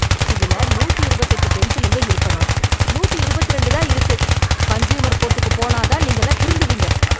இதுல நூத்தி இருபத்தெட்டு பென்சிலுங்க இருக்கணும். நூத்தி இருபத்தி ரெண்டு தான் இருக்கு. கன்ஸ்யூமர் கோர்ட்டுக்குப் போனா தான் நீங்கெல்லாம் திருந்துவீங்க.